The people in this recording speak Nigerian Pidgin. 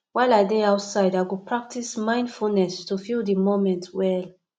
while i dey outside i go practice mindfulness to feel di moment well